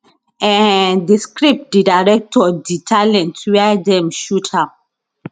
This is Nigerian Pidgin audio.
um di script di director di talent wia dem shoot am